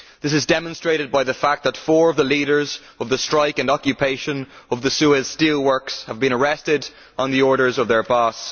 This is demonstrated by the fact that four of the leaders of the strike and occupation of the Suez Steel Works have been arrested on the orders of their boss.